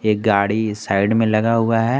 एक गाड़ी साइड में लगा हुआ है।